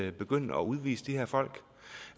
at begynde at udvise de her folk